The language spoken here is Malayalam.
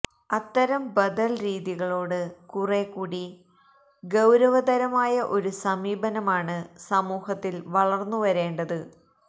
അത്തരം ബദൽ രീതികളോട് കുറേക്കൂടി ഗൌരവതരമായ ഒരു സമീപനമാണ് സമൂഹത്തിൽ വളർന്നു വരേണ്ടത്